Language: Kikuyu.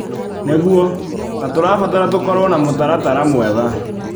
Nĩguo, na tũrabatara tũkorwo na mũtaratara mwega.